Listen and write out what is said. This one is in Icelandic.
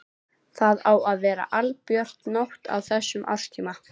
Það á að vera albjört nótt á þessum árstíma.